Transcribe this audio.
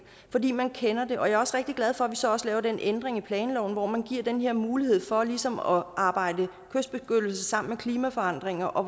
fordi man kender det og jeg er også rigtig glad for at vi så også laver den ændring i planloven hvor man giver den her mulighed for ligesom at arbejde kystbeskyttelse sammen med klimaforandringer og